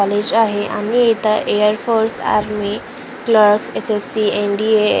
college आहे आणि इथं air force army clerks SSC NDA IBP --